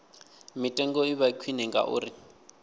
mitengo i vha khwine ngauri